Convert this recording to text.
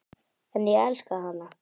En ég elska hana.